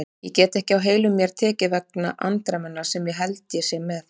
Ég get ekki á heilum mér tekið vegna andremmunnar sem ég held ég sé með.